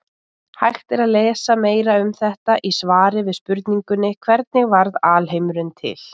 Hægt er að lesa meira um þetta í svari við spurningunni Hvernig varð alheimurinn til?